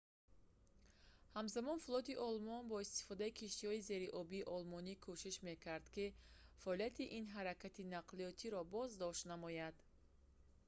ҳамзамон флоти олмон бо истифодаи киштиҳои зериобии олмонӣ кӯшиш мекард ки фаъолияти ин ҳаракати нақлиётро боздошт намояд